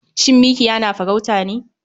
Shin mikiya na farauta ne?